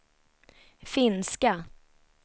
finska